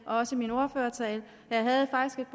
og også i min ordførertale